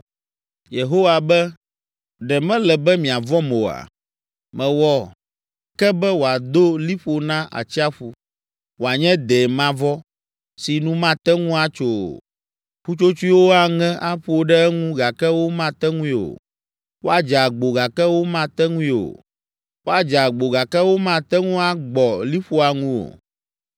Yehowa be, ‘Ɖe mele be miavɔ̃m oa? Mewɔ ke be wòado liƒo na atsiaƒu, wòanye dɛ mavɔ si nu mate ŋu atso o. Ƒutsotsoewo aŋe aƒo ɖe eŋu gake womate ŋui o. Woadze agbo gake womate ŋui o. Woadze agbo gake womate ŋu agbɔ liƒoa ŋu o.